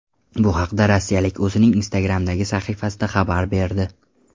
Bu haqda rossiyalik o‘zining Instagram’dagi sahifasida xabar berdi .